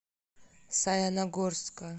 саяногорска